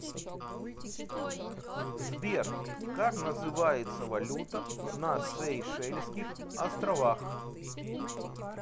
сбер как называется валюта на сейшельских островах